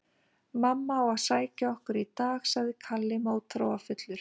Mamma á að sækja okkur í dag, sagði Kalli mótþróafullur.